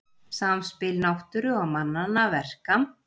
Samspil náttúru og mannanna verka